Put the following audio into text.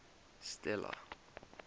stella